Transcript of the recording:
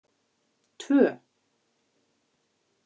tvö